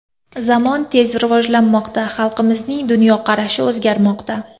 Zamon tez rivojlanmoqda, xalqimizning dunyoqarashi o‘zgarmoqda.